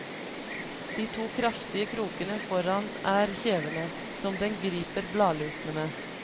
De to kraftige krokene foran er kjevene, som den griper bladlusene med.